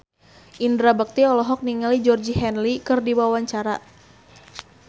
Indra Bekti olohok ningali Georgie Henley keur diwawancara